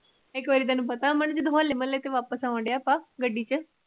ਇੱਕ ਵਾਰ ਤੇਨੂੰ ਪਤਾ ਜਦੋਂ ਹੋਲੇ ਮਹੱਲੇ ਤੋਂ ਵਾਪਸ ਆਣਡੇ ਆਪਾ ਗੱਡੀ ਚ